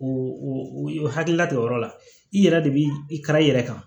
O o hakilila de o yɔrɔ la i yɛrɛ de b'i ka i yɛrɛ kan